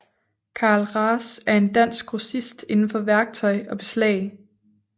Carl Ras er en dansk grossist indenfor værktøj og beslag